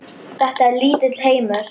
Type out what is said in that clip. Þetta er lítill heimur!